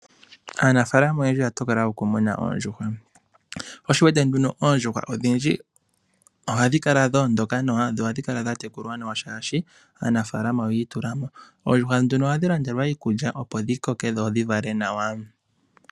Aanafaalama oyendji oya tokola oku muna oondjuhwa . Oondjuhwa odhindji ohadhi kala dhoondoka nawa dho ohadhi kala dha tekulwa nawa shaashi aanafaalama oyiitulamo. Oondjuhwa ohadhi landelwa iikulya opo dhi koke nawa dho dhi vale.